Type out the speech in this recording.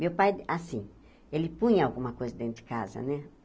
Meu pai, assim, ele punha alguma coisa dentro de casa, né?